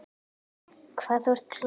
Hvað þú ert klár.